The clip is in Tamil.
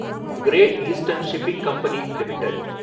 great eastern shipping company limited